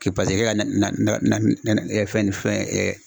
K'i paseke ke ka na na na na fɛn ni fɛn